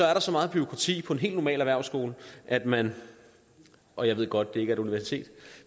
er der så meget bureaukrati på en helt normal erhvervsskole at man og jeg ved godt at det ikke et universitet